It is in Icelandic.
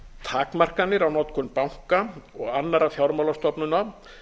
takmarkanir á notkun banka og annarra fjármálastofnana